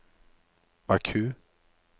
Baku